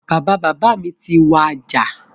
Bàbá bàbá mi ti wàjà